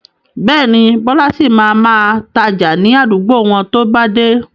Bẹ́ẹ̀ni, Bọlá sì máa ma tája ni àdúgbò wọn to bá dé.